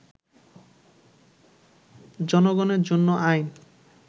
জনগণের জন্য আইন